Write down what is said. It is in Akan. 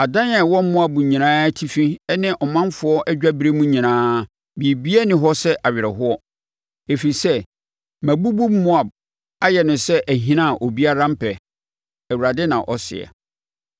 Adan a ɛwɔ Moab nyinaa atifi ne ɔmanfoɔ adwaberem nyinaa, biribiara nni hɔ sɛ awerɛhoɔ, ɛfiri sɛ mabubu Moab ayɛ no sɛ ahina a obiara mpɛ,” Awurade na ɔseɛ.